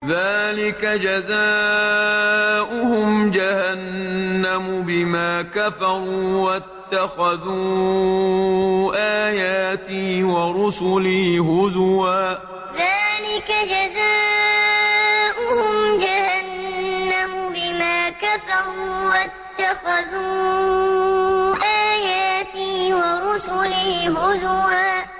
ذَٰلِكَ جَزَاؤُهُمْ جَهَنَّمُ بِمَا كَفَرُوا وَاتَّخَذُوا آيَاتِي وَرُسُلِي هُزُوًا ذَٰلِكَ جَزَاؤُهُمْ جَهَنَّمُ بِمَا كَفَرُوا وَاتَّخَذُوا آيَاتِي وَرُسُلِي هُزُوًا